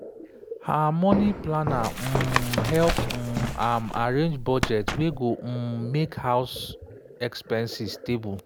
her money planner um help um am arrange budget wey go um make house expenses stable.